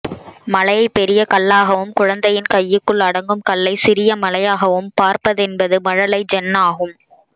மலையை பெரிய கல்லாகவும் குழந்தையின் கைக்குள் அடங்கும் கல்லை சிறிய மலையாகவும் பார்ப்பதென்பது மழலை ஜென்னாகும்